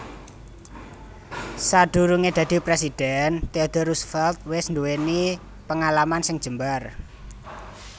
Sadurungé dadi presidhèn Theodore Roosevelt wis nduwèni pengalaman sing jembar